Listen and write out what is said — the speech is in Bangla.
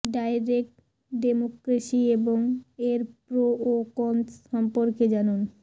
ডাইরেক্ট ডেমোক্রেসি এবং এর প্রো ও কনস সম্পর্কে জানুন